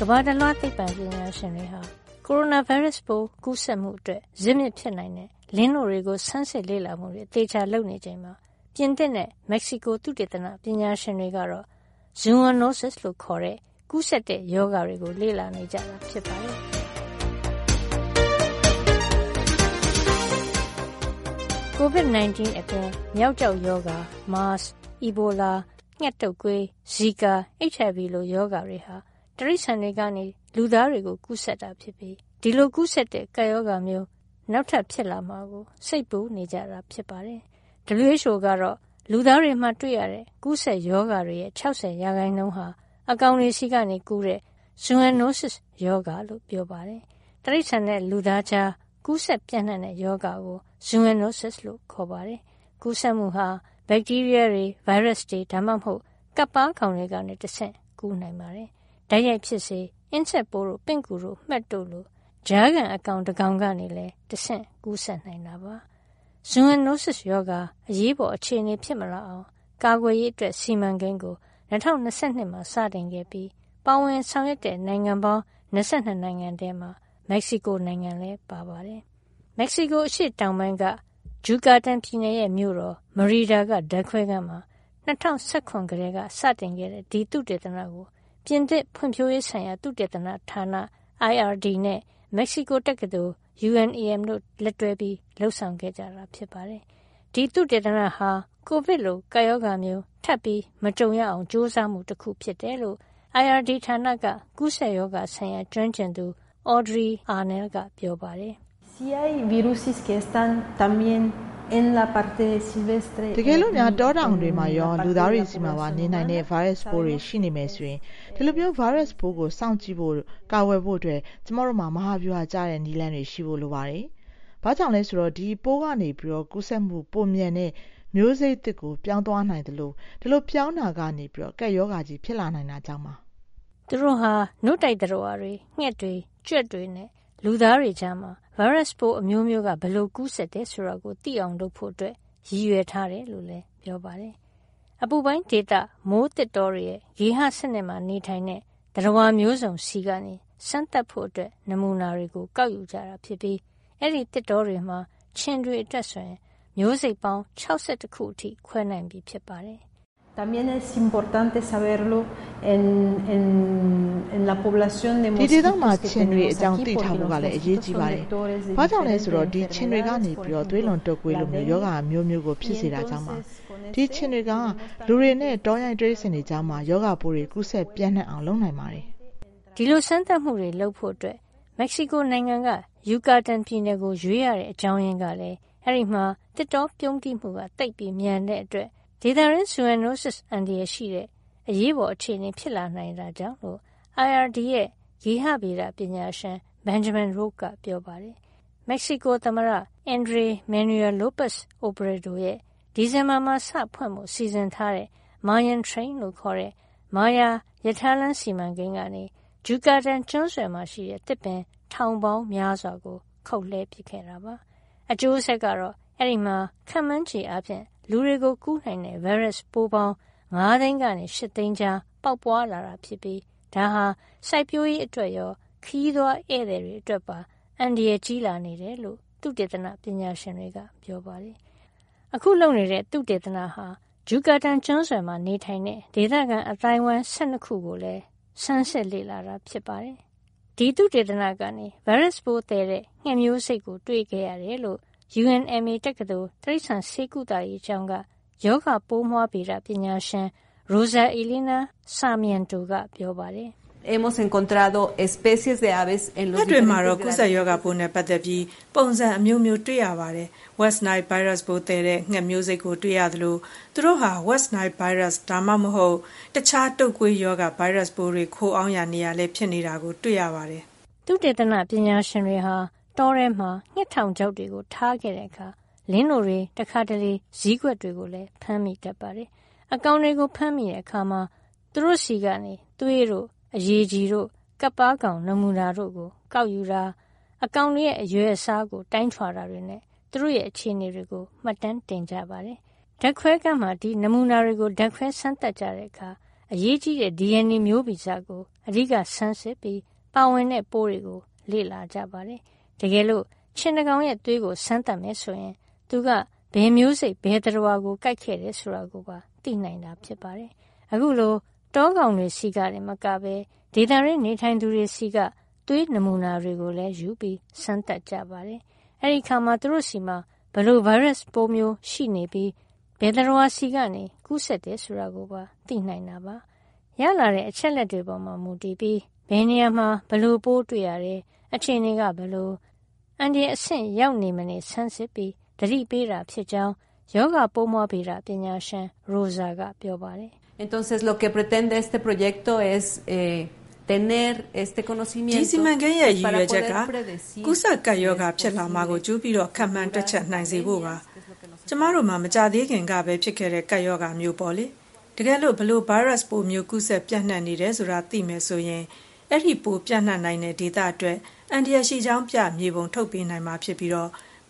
ကမ္ဘာတလွှားသိပ္ပံပညာရှင်တွေက ကိုရိုနာဗိုင်းရပ်စ်ကူးစက်မှုအတွက် ဇစ်မြစ်ဖြစ်နိုင်တဲ့လင်းနို့တွေကို ဆန်းစစ်လေ့လာမှုတွေ အသေအချာလုပ်နေချိန်မှာ ပြင်သစ်နဲ့ မက္ကဆီကိုသုတေသနပညာရှင်တွေက ဇူအွန်နိုးစစ် - Zoonoses လို့ခေါ်တဲ့ ကူးစက်တဲ့ရောဂါတွေကို လေ့လာနေကြတာ ဖြစ်ပါတယ်။ ကိုဗစ် 19 အပြင် မျောက်ကျောက်ရောဂါ၊ မားစ်၊ အီဘိုလာ၊ ငှက်တုပ်ကွေး၊ ဇီကာ၊ HIV လို ရောဂါတွေဟာ တိရိစ္ဆာန်တွေကနေ လူသားတွေကိုကူးစက်တာဖြစ်ပြီး ဒီလို ကူးစက်တဲ့ကပ်ရောဂါမျိုး နောက်ထပ် ဖြစ်လာမှာကို စိတ်ပူနေကြပါတယ်။ WHO ကတော့ လူသားတွေမှာတွေ့ရတဲ့ ကူးစက်ရောဂါတွေရဲ့ ၆၀ % အကောင်တွေဆီကနေကူးတဲ့ ဇူအွန်နိုးစစ်စ်ရောဂါလို့ ပြောပါတယ်။ တိရိစ္ဆာန်နဲ့လူသားကြား ကူးစက်ပြန့်နှံ့တဲ့ရောဂါကို ဇူအွန်နိုးစစ်စ် လို့ ခေါ်ပါတယ်။ ကူးစက်မှုဟာ ဗက်တီးရီးယားတွေ၊ ဗိုင်းရပ်စ်တွေ ဒါမှမဟုတ် ကပ်ပါးကောင်တွေကတဆင့် ကူးနိုင်ပါတယ်။ တိုက်ရိုက်ဖြစ်စေ၊ အင်းဆက်ပိုးတို့၊ ပင့်ကူတို့၊ မှက်တို့လို ကြားခံအကောင် တကောင်ကောင်ကနေလည်း တဆင့် ကူးစက်နိုင်တာပါ။ ဇူအွန်နိုးစစ်စ်ရောဂါ အရေးပေါ်အခြေအနေဖြစ်မလာအောင် ကာကွယ်ရေး စီမံကိန်းကို ၂၀၂၂ မှာ စတင်ခဲ့ပြီး ပါဝင်တဲ့ဆောင်ရွက်တဲ့နိုင်ငံပေါင်း ၂၂ နိုင်ငံထဲမှာ မက္ကဆီကိုနိုင်ငံလည်း ပါပါတယ်။ မက္ကဆီကိုအရှေ့တောင်ပိုင်းက Yucatan ဂျူကာတန်ပြည်နယ်ရဲ့ မြို့တော်မရီဒါ (Merida) က ဓါတ်ခွဲခန်းမှာ ၂၀၁၇ ကတည်းကစတင်တဲ့ ဒီသုတေသနကို ပြင်သစ်ဖွံ့ဖြိုးရေးဆိုင်ရာ သုတေသနဌာန IRD နဲ့ မက္ကဆီကိုတက္ကသိုလ် UNAM တို့ လက်တွဲလုပ်ဆောင်ကြတာပါ။ ဒီသုတေသနဟာ ကိုဗစ်လိုကပ်ရောဂါမျိုးထပ်မကြုံရအောင် ကြိုးစားမှုတခုဖြစ်တယ်လို့ IRD ဌာနက ကူးစက်ရောဂါဆိုင်ရာ ကျွမ်းကျင်သူ Audrey Arnal က ပြောပါတယ်။ "တကယ်လို့ တောကောင်တွေမှာရော လူသားတွေဆီမှာပါနေနိုင်တဲ့ ဗိုင်းရပ်စ်တွေ ရှိနေမယ်ဆိုရင် ဒီလို ဗိုင်းရပ်စ်ကိုစောင့်ကြည့်ဖို့နဲ့ ကာကွယ်ဖို့အတွက် ကျမတို့မှာ မဟာဗျူဟာကျတဲ့ နည်းလမ်းတွေရှိဖို့လိုပါတယ်။ ဘာကြောင့်လဲဆိုတော့ ဒီပိုးကနေ ကူးစက်မှုပိုမြန်တဲ့ မျိုးစိတ်သစ်ကို ပြောင်းသွားနိုင်သလို ဒီလိုပြောင်းတာကနေ ကပ်ရောဂါကြီး ဖြစ်လာနိုင်တာကြောင့်ပါ။” သူတို့ဟာ နို့တိုက်သတ္တဝါတွေ၊ ငှက်တွေ၊ ကြွက်တွေနဲ့ လူသားတွေကြားမှာ ဗိုင်းရပ်စ်အမျိုးမျိုးက ဘယ်လိုကူးစက်တယ်ဆိုတာကိုသိအောင်လုပ်ဖို့ ရည်ရွယ်ထားတယ်လို့လည်းပြောပါတယ်။ အပူပိုင်းဒေသမိုးသစ်တောတွေရဲ့ ဂေဟစနစ်မှာနေထိုင်တဲ့ သတ္တဝါမျိုးစုံဆီက စမ်းသပ်ဖို့နမူနာတွေကို ကောက်ယူကြတာဖြစ်ပြီး အဲဒီသစ်တောတွေမှာ ခြင်တွေအတွက်ဆို မျိုးစိတ်ပေါင်း ၆၁ ခုအထိ ခွဲနိုင်ပြီဖြစ်ပါတယ်။ " ဒီဒေသမှာရှိတဲ့ ခြင်တွေအကြောင်း သိထားဖို့ကလည်း အရေးကြီးပါတယ်။ ဘာကြောင့်လဲဆိုတော့ ဒီခြင်တွေက သွေးလွန်တုပ်ကွေးလို ရောဂါအမျိုးမျိုးကိုဖြစ်စေတာကြောင့် ပါ။ ဒီခြင်တွေဟာ လူနဲ့ တောရိုင်းတိရိစ္ဆာန်တွေကြားမှာ ရောဂါပိုးတွေ ကူးစက်ပြန့်နှံ့အောင်လုပ်နိုင်ပါတယ်။” ဒီလို စမ်းသပ်မှုတွေလုပ်ဖို့ မက္ကဆီကိုနိုင်ငံက ယူကာတန်ပြည်နယ်ကို ရွေးရတဲ့အကြောင်းရင်းကလည်း အဲဒီမှာ သစ်တောပြုန်းတီးမှုသိပ်မြန်တဲ့အတွက် ဒေသတွင်း ဇူအွန်နိုးစစ်အန္တရာယ်ရှိတဲ့ အရေးပေါ်အခြေအနေဖြစ်လာတာကြောင့်လို့ IRD ရဲ့ ဂေဟဗေဒပညာရှင်. Benjamin Roche က ပြောပါတယ်။ မက္ကဆီကိုသမ္မတ Andres Manuel Lopez Obrador' ရဲ့ ဒီဇင်ဘာမှာစဖွင့်ဖို့ စီစဉ်ထားတဲ့ Mayan Train မာယာရထားလမ်းစီမံကိန်းကနေ ဂျူကာတန်ကျွန်းဆွယ်မှာရှိတဲ့ သစ်ပင်ထောင်ပေါင်းများစွာကို ခုတ်ပစ်ခဲ့တာပါ။ အကျိုးဆက်ကတော့ အဲဒီမှာ ခန့်မှန်းခြေအားဖြင့် လူတွေကို ကူးစက်နိုင်တဲ့ဗိုင်းရပ်စ်ပိုးပေါင်း ၅ သိန်းကနေ ၈ သိန်းကြား ပေါက်ပွါးလာတာဖြစ်ပြီး ဒါဟာ စိုက်ပျိုးရေးအတွက်ရော ခရီးသွားဧည့်သည်တွေအတွက်ပါ အန္တရာယ်ကြီး လာနေတယ်လို့ သုတေသနပညာရှင်တွေက ပြောပါတယ်။ အခုလုပ်နေတဲ့သုတေသနမှာ ဂျုကာတန်ကျွန်းဆွယ်မှာနေထိုင်တဲ့ ဒေသခံအသိုင်းအဝိုင်း ၁၂ ခုကိုပါ ဆန်းစစ်ခဲ့ပါတယ်။ ဒီသုတေသနကနေ ဗိုင်းရပ်စ်သယ်တဲ့ငှက်မျိုးစိတ်ကို တွေ့ခဲ့ရတယ်လို့ UNMA တက္ကသိုလ် တိရိစ္ဆာန်ဆေးကုသရေးကျောင်းက ရောဂါပိုးမွှားဗေဒပညာရှင် Rosa Elena Sarmiento က ပြောပါတယ်။ "ငှက်တွေမှာတော့ ကူးစက်ရောဂါပိုးနဲ့ပတ်သက်ပြီး ပုံစံအမျိုးမျိုးတွေ့ရပါတယ်။ West Nile ဗိုင်းရပ်စ်သယ်တဲ့ငှက်မျိုးစိတ်ကို တွေ့ခဲ့ရသလို သူတို့ဟာ West Nile ဗိုင်းရပ်စ် ဒါမှမဟုတ် တခြား တုပ်ကွေးရောဂါ ဗိုင်းရပ်စ်တွေ ခိုအောင်းရာနေရာလည်း ဖြစ်နေတာတွေ့ရပါတယ်။” သုတေသနပညာရှင်တွေဟာ တောထဲမှာ ငှက်ထောင်ချောက်တွေထားတဲ့အခါ လင်းနို့တွေ၊ တခါတလေ ဇီးကွက်တွေကိုလည်း ဖမ်းမိတတ်ပါတယ်။ အကောင်တွေကိုဖမ်းမိတဲ့အခါ သူတို့ဆီက သွေးတို့၊ အရည်ကြည်တို့ ကပ်ပါးကောင်နမူနာတွေကိုယူတာ၊ အကောင်တွေရဲ့ အရွယ်အစားကို တိုင်းထွာတာတွေနဲ့ သူတို့ရဲ့အခြေနေတွေကို မှတ်တမ်းတင်ကြပါတယ်။ ဓါတ်ခွဲခန်းမှာ ဒီနမူနာတွေကို ဓါတ်ခွဲစမ်းသပ်ကြတဲ့အခါ အရေးကြီးတဲ့ DNA မျိုးဗီဇကို အဓိက ဆန်းစစ်ပြီး ပါဝင်တဲ့ပိုးတွေကို လေ့လာကြပါတယ်။ တကယ်လို့ ခြင်တကောင်ရဲ့သွေးကို စမ်းသပ်မယ်ဆိုရင် သူက ဘယ်မျိုးစိတ် ဘယ်သတ္တဝါကိုကိုက်ခဲ့တယ်ဆိုတာ သိနိုင်တာပါ။ အခုလို တောကောင်တွေဆီကတင်မကဘဲ ဒေသတွင်းနေထိုင်သူတွေဆီက သွေးနမူနာတွေကိုလည်းယူပြီး စမ်းသပ်ကြပါတယ်။ အဲဒီအခါမှာ သူတို့ဆီမှာ ဘယ်လို ဗိုင်းရပ်စ်မျိုးရှိနေပြီး ဘယ်သတ္တဝါဆီကကူးတယ်ဆိုတာကို သိနိုင်ပါတယ်။ ရလာတဲ့အချက်လက်တွေပေါ်မူတည်ပြီး ဘယ်နေရာမှာ ဘယ်လိုပိုးတွေ့ရတယ်၊ အခြေအနေက ဘယ်လို အန္တရာယ်အဆင့်ရောက်နေမနေ ဆန်းစစ်ပြီးသတိပေးတာဖြစ်ကြောင်း ရောဂါပိုးမွှားဗေဒပညာရှင် Rosa ကပြောပါတယ်။ "ဒီ စီမံကိန်းရဲ့ရည်ရွယ်ချက်က ကူးစက်ကပ်ရောဂါဖြစ်လာမှာကို ကြိုပြီးခန့်မှန်းတွက်ချက်နိုင် စေဖို့ ဖြစ်ပါတယ်။ ကျမတို့မှာ မကြာသေးခင်ကပဲဖြစ်ခဲ့တဲ့ ကပ်ရောဂါမျိုးပေါ့လေ။ တကယ်လို့ ဘယ်လို ဗိုင်းရပ်စ်မျိုး ကူးစက်ပြန့်နှံ့နေတယ်ဆိုတာသိမယ်ဆိုရင် ဒီပိုးပြန့်နိုင်တဲ့ဒေသအတွက် အန္တရာယ်ရှိကြောင်းပြ မြေပုံထုတ်ပေးနိုင်မှာဖြစ်ပြီး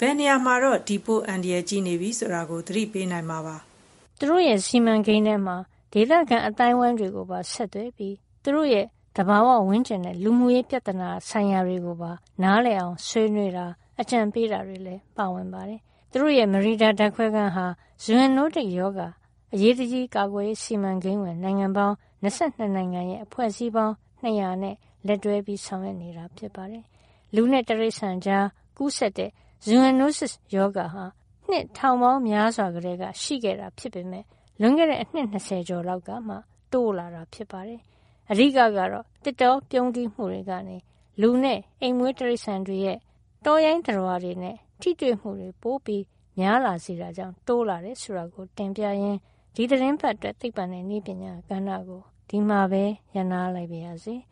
ဘယ်နေရာမှာတော့ ဒီပိုး အန္တရာယ်ကြီးနေပြီဆိုတာကို သတိပေးနိုင်မှာဖြစ်ပါတယ်။ သူတို့စီမံကိန်းထဲမှာ ဒေသခံအသိုင်းအဝိုင်းတွေကိုပါဆက်သွယ်ပြီး သူတို့ရဲ့ သဘာဝဝန်းကျင်နဲ့ လူမှုရေးပြဿနာဆိုင်ရာတွေကို နားလည်အောင်ဆွေးနွေးတာ၊ အကြံပေးတာတွေလည်း ပါဝင်ပါတယ်။ သူတို့ရဲ့ မရီဒါဓါတ်ခွဲခန်းဟာ ဇူအွန်နိုးတစ်ရောဂါအရေးတကြီးကာကွယ်ရေး စီမံကိန်းဝင်နိုင်ငံပေါင်း ၂၂ နိုင်ငံရဲ့အဖွဲ့အစည်းပေါင်း ၂၀၀ နဲ့ လက်တွဲဆောင်ရွက်နေတာပါ။ လူနဲ့တိရိစ္ဆာန်ကြားကူးစက်တဲ့ ဇူအွန်နိုးစစ်စ်ရောဂါဟာ နှစ်ထောင်ပေါင်းများစွာကတည်းက ရှိခဲ့တာဖြစ်ပေမယ့် လွန်ခဲ့တဲ့အနှစ် ၂၀ ကျော်လောက်ကမှ တိုးလာတာဖြစ်ပါတယ်။ အဓိကကတော့ သစ်တောပြုန်းတီးမှုတွေကနေ လူနဲ့အိမ်မွေးတိရိစ္ဆာန်တွေရဲ့ တောရိုင်းသတ္တဝါတွေနဲ့ ထိတွေ့မှုပိုများလာစေတာကြောင့် တိုးလာတယ်ဆိုတာကိုတင်ပြရင်း ဒီသီတင်းပတ်အတွက် သိပ္ပံနဲ့နည်းပညာကဏ္ဍကို ဒီမှာပဲ ရပ်နားလိုက်ပါရစေ။